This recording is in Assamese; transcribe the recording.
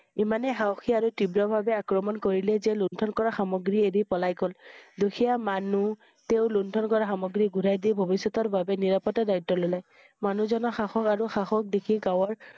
ইমান সাহসী আৰু তীব্ৰ ভাবে আক্ৰমণ কৰিলে যে লুণ্ঠন কৰা সামগ্ৰী এৰি পলাই গল। দুখীয়া মানুহ তেওঁ লুণ্ঠন কৰা সামগ্ৰী ঘূৰাই দি ভবিষ্যতৰ বাবে নিৰাপত্তাৰ দায়িত্ব ললে। মানুহ জন্মৰ সাহস আৰু সাহস দেখি গাঁৱৰ